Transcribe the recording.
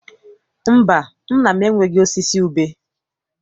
Mba, nna m enweghị osisi ube.